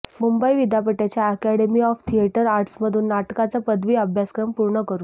मुंबई विद्यापीठाच्या academy of theatre आर्ट्समधून नाटकाचा पदवी अभ्यासक्रम पूर्ण करू